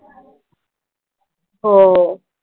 हो.